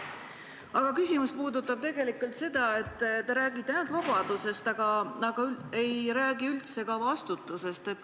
Aga mu küsimus puudutab tegelikult seda, et te räägite ainult vabadusest, aga ei räägi üldse vastutusest.